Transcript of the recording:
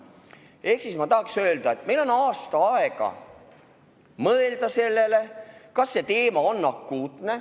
Seega ma tahaksin öelda, et meil on aasta aega mõelda sellele, kas see teema on akuutne.